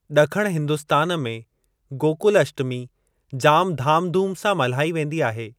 ॾखण हिंदुस्‍तान में गोकुल अष्टमी जाम धामधूम सां मल्हाई वेंदी आहे।